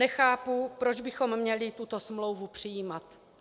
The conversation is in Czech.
Nechápu, proč bychom měli tuto smlouvu přijímat.